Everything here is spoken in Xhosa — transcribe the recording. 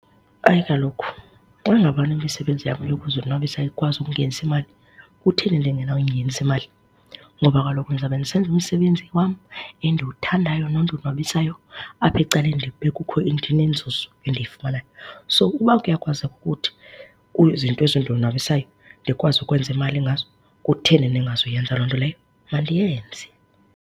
Hayi kaloku xa ngabana imisebenzi yam yokuzonwabisa ikwazi ukungenisa imali, kutheni ndingenawuyingenisa imali? Ngoba kaloku ndizawube ndisenza umsebezi wam endiwuthandayo nondonwabisayo apha ecaleni ndibe kukho ndinenzuzo endiyifumanayo. So, uba kuyakwazeka ukuthi izinto ezindonwabisayo ndikwazi ukwenza imali ngazo, kutheni ndingazuyenza loo nto leyo? Mandiyenze.